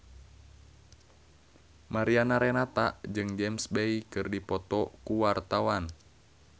Mariana Renata jeung James Bay keur dipoto ku wartawan